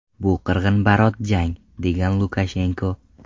Bu qirg‘inbarot jang”, degan Lukashenko.